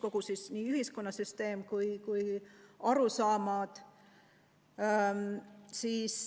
Kõik peab muutuma, nii ühiskonnasüsteem kui ka arusaamad.